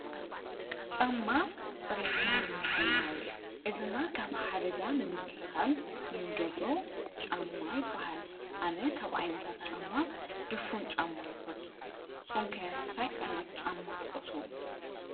ጫማ ፅሬትና ንምሕላው እግርና ኻብ ሓደጋ ንምክልኻል እንገብሮ ጫማ ይበሃል። ኣነ ካብ ኣይነታት ጫማ ድፉን ጫማ ይፈቱ። ንስኩም ከ እንታይ ዓይነት ጫማ ትፈትው?